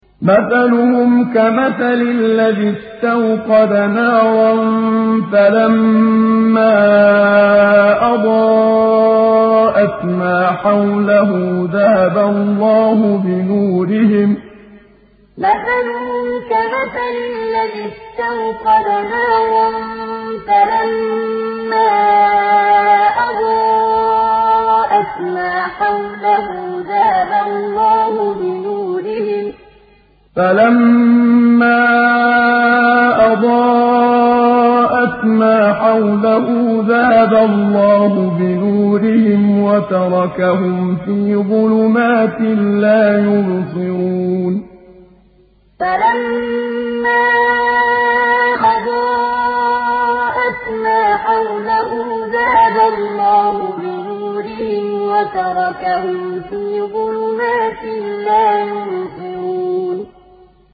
مَثَلُهُمْ كَمَثَلِ الَّذِي اسْتَوْقَدَ نَارًا فَلَمَّا أَضَاءَتْ مَا حَوْلَهُ ذَهَبَ اللَّهُ بِنُورِهِمْ وَتَرَكَهُمْ فِي ظُلُمَاتٍ لَّا يُبْصِرُونَ مَثَلُهُمْ كَمَثَلِ الَّذِي اسْتَوْقَدَ نَارًا فَلَمَّا أَضَاءَتْ مَا حَوْلَهُ ذَهَبَ اللَّهُ بِنُورِهِمْ وَتَرَكَهُمْ فِي ظُلُمَاتٍ لَّا يُبْصِرُونَ